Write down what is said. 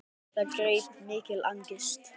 Það greip mikil angist.